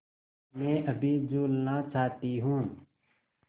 मैं अभी झूलना चाहती हूँ